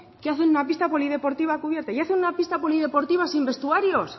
que hacen una pista polideportiva cubierta y hacen una pista polideportiva sin vestuarios